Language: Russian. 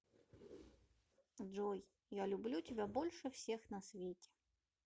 джой я люблю тебя больше всех на свете